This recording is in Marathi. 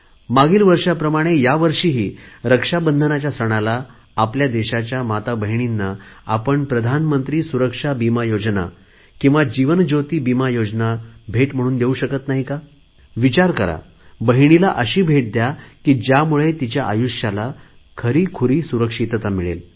मागील वर्षाप्रमाणे ह्यावर्षीही रक्षाबंधनच्या सणाला आपल्या देशाच्या माताभगिनींना आपण प्रधानमंत्री सुरक्षा विमा योजना किंवा जीवन ज्योती विमा योजना भेट म्हणून देऊ शकत नाही का विचार करा बहिणीला अशी भेट द्या की ज्यामुळे तिच्या आयुष्याला खरीखुरी सुरक्षितता मिळेल